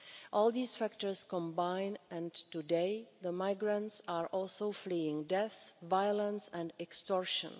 All these factors combine and today the migrants are also fleeing death, violence and extortion.